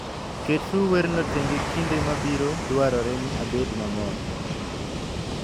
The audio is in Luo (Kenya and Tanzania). Keturu werno tenge kinde ma biro dwarore ni abed mamor.